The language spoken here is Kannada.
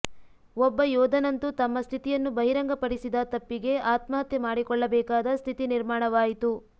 ಒಬ್ಬ ಯೋಧನಂತೂ ತಮ್ಮ ಸ್ಥಿತಿಯನ್ನು ಬಹಿರಂಗ ಪಡಿಸಿದ ತಪ್ಪಿಗೆ ಆತ್ಮಹತ್ಯೆ ಮಾಡಿಕೊಳ್ಳಬೇಕಾದ ಸ್ಥಿತಿ ನಿರ್ಮಾಣವಾಯಿತು